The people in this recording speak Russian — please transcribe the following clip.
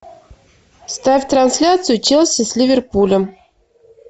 ставь трансляцию челси с ливерпулем